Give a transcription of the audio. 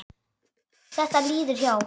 Þetta líður hjá.